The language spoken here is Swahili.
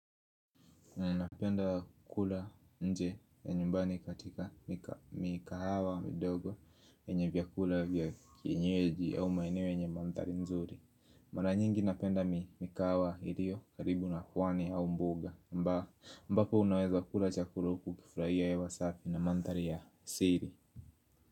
Napenda kula nje ya nyumbani katika mikahawa midogo yenye vyakula vya kienyeji au maeneo yenye mandhari nzuri. Mara nyingi napenda mikahawa iliyo karibu na pwani au mbuga. Ambapo unaweza kula chakula huku ukifurahia hewa safi na mandhari ya siri.